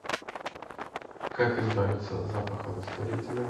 как избавиться от запаха растворителя